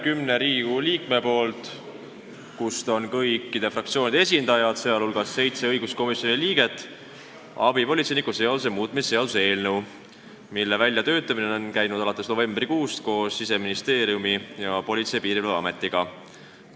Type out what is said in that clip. Kümne Riigikogu liikme nimel, kelle hulgas on kõikide fraktsioonide esindajad, sh seitse õiguskomisjoni liiget, annan üle abipolitseiniku seaduse muutmise seaduse eelnõu, mille väljatöötamine on käinud alates novembrikuust koos Siseministeeriumi ning Politsei- ja Piirivalveametiga.